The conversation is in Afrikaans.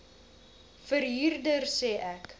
verhuurder sê ek